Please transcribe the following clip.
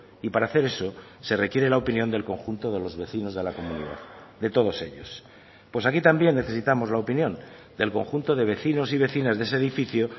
y para hacer eso se requiere la opinión del conjunto de los vecinos de la comunidad de todos ellos pues aquí también necesitamos la opinión del conjunto de vecinos y vecinas de ese edificio